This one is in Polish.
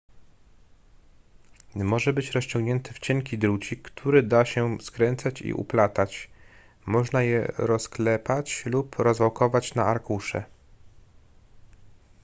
może być rozciągnięte w cienki drucik który da się skręcać i uplatać można je rozklepać lub rozwałkować na arkusze